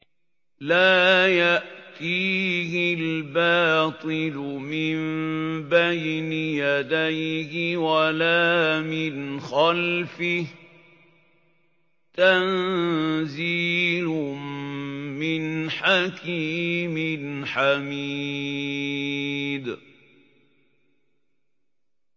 لَّا يَأْتِيهِ الْبَاطِلُ مِن بَيْنِ يَدَيْهِ وَلَا مِنْ خَلْفِهِ ۖ تَنزِيلٌ مِّنْ حَكِيمٍ حَمِيدٍ